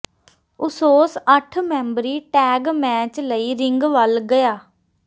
ਉਸੋਸ ਅੱਠ ਮੈਂਬਰੀ tag match ਲਈ ਰਿੰਗ ਵੱਲ ਗਿਆ